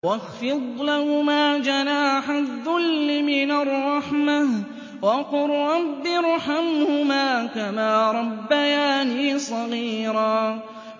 وَاخْفِضْ لَهُمَا جَنَاحَ الذُّلِّ مِنَ الرَّحْمَةِ وَقُل رَّبِّ ارْحَمْهُمَا كَمَا رَبَّيَانِي صَغِيرًا